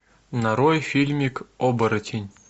нарой фильмик оборотень